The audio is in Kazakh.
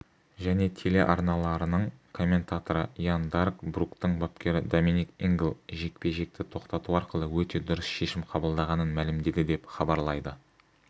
және телеарналарының комментаторы ян дарк бруктің бапкері доминик ингл жекпе-жекті тоқтату арқылы өте дұрыс шешім қабылдағанын мәлімдеді деп хабарлайды